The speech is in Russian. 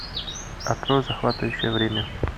открой захватывающее время